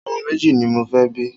Ọmọ méjì ni mo fẹ́ bí.